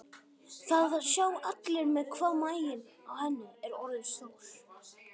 Það sjá allir hvað maginn á henni er orðinn stór.